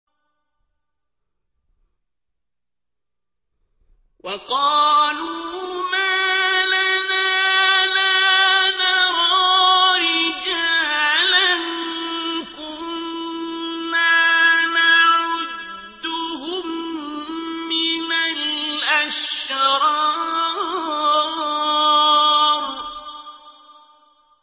وَقَالُوا مَا لَنَا لَا نَرَىٰ رِجَالًا كُنَّا نَعُدُّهُم مِّنَ الْأَشْرَارِ